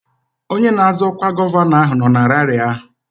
Onye na-azọ ọkwa gọvanọ ahụ nọ na raarị ahụ